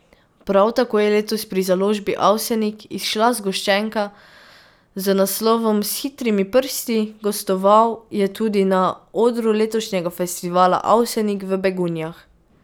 Prav tako je letos pri založbi Avsenik izšla zgoščenka z naslovom S hitrimi prsti, gostoval je tudi na odru letošnjega festivala Avsenik v Begunjah.